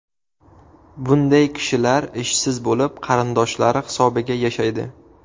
Bunday kishilar ishsiz bo‘lib, qarindoshlari hisobiga yashaydi.